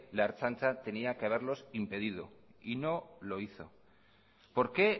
la ertzaintza tenía que haberlos impedido y no lo hizo por qué